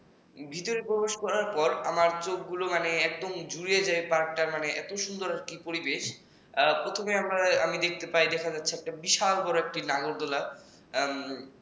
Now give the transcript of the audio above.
ভিতরে প্রবেশ করার পর আমার চোখ গুলো একদম জুড়িয়ে যায় park র মধ্যে এত সুন্দর পরিবেশ আহ প্রথমেই আমি দেখতে পাই যে বিশাল বড় একটি নাগরদোলা